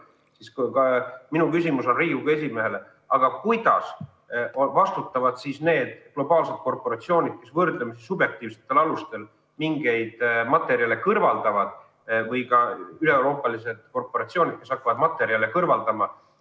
Sellest tulenevalt on minu küsimus Riigikogu esimehele, et kuidas vastutavad need globaalsed korporatsioonid, mis võrdlemisi subjektiivsetel alustel mingeid materjale kõrvaldavad, või ka üleeuroopalised korporatsioonid, kes hakkavad materjale kõrvaldama.